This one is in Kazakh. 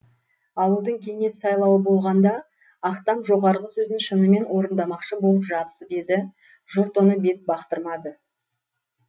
ауылдың кеңес сайлауы болғанда ақтам жоғарғы сөзін шынымен орындамақшы болып жабысып еді жұрт оны бет бақтырмады